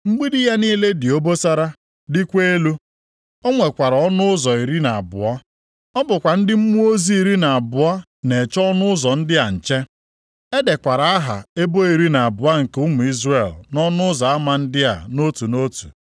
Mgbidi ya niile dị obosara dịkwa elu. O nwekwara ọnụ ụzọ iri na abụọ. Ọ bụkwa ndị mmụọ ozi iri na abụọ na-eche ọnụ ụzọ ndị a nche. E dekwara aha ebo iri na abụọ nke ụmụ Izrel nʼọnụ ụzọ ama ndị a nʼotu nʼotu.